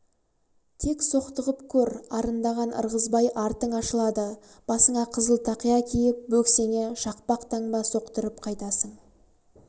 тек соқтығып көр арындаған ырғызбай артың ашылады басыңа қызыл тақия киіп бөксеңе шақпақ таңба соқтырып қайтасың